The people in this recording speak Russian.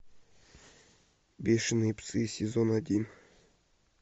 бешеные псы сезон один